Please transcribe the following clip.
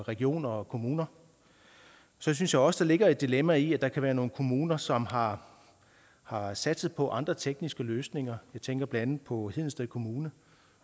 regioner og kommuner så synes jeg også der ligger et dilemma i at der kan være nogle kommuner som har har satset på andre tekniske løsninger jeg tænker blandt andet på hedensted kommune